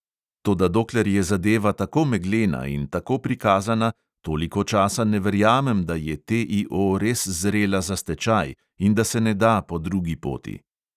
Toda dokler je zadeva tako meglena in tako prikazana, toliko časa ne verjamem, da je TIO res zrela za stečaj in da se ne da po drugi poti.